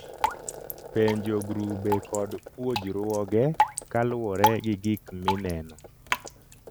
Penjo grube kod puojruoge kaluwore gi gik mi neno